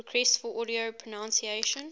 requests for audio pronunciation